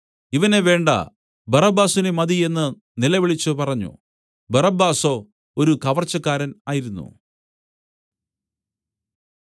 ഇവനെ വേണ്ട ബറബ്ബാസിനെ മതി എന്നു നിലവിളിച്ചുപറഞ്ഞു ബറബ്ബാസോ ഒരു കവർച്ചക്കാരൻ ആയിരുന്നു